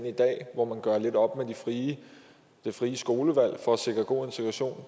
i dag hvor man gør lidt op med det frie frie skolevalg for at sikre god integration